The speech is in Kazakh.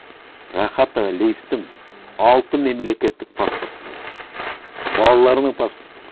рахат әлиевтің алты мемлекеттік паспорты болды балаларының паспорты